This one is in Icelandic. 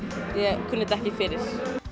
ég kunni þetta ekki fyrir